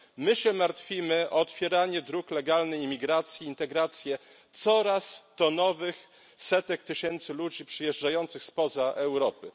My się martwimy o otwieranie dróg legalnej imigracji, integrację coraz to nowych setek tysięcy ludzi przyjeżdżających spoza Europy.